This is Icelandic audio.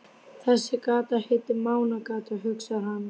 Þessi gata heitir Mánagata, hugsar hann.